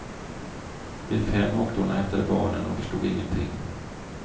Vid fem åkte hon och hämtade barnen, och förstod ingenting.